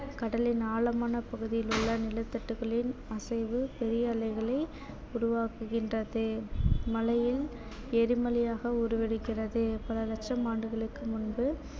கடலின் ஆழமான பகுதியில் உள்ள நிலத்தட்டுக்களின் அசைவு பெரிய அலைகளை உருவாக்குகின்றது மழையில் எரிமலையாக உருவெடுக்கிறது பல லட்சம் ஆண்டுகளுக்கு முன்பு